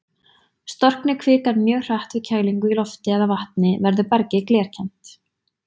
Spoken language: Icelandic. Storkni kvikan mjög hratt við kælingu í lofti eða vatni, verður bergið glerkennt.